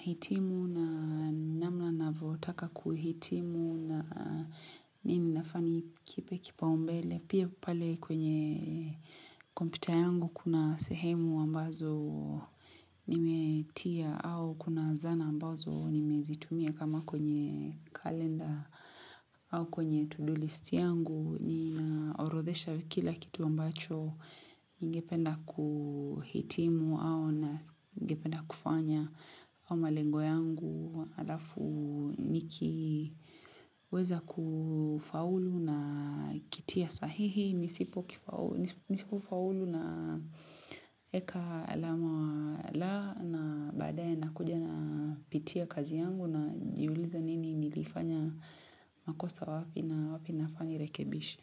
hitimu na namna navyotaka kuhitimu na nini nafaa nikipe kipaumbele pia pale kwenye kompyuta yangu kuna sehemu ambazo nimetia au kuna zana ambazo nimezitumia kama kwenye kalenda au kwenye to-do list yangu ninaorodhesha kila kitu ambacho ningependa kuhitimu au na ningependa kufanya au malengo yangu alafu nikiweza kufaulu na kitia sahihi nisipo kufaulu na weka alama la na baadaye nakuja napitia kazi yangu na najiuliza nini nilifanya makosa wapi na wapi nafaa nirekebishi.